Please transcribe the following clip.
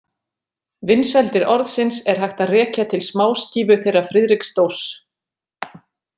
Vinsældir orðsins er hægt að rekja til smáskífu þeirra Friðriks Dórs.